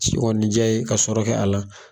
Ci kɔɔni diya ye ka sɔrɔ kɛ a la.